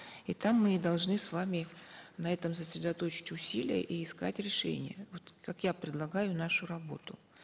и там мы и должны с вами на этом сосредоточить усилия и искать решения вот как я предлагаю нашу работу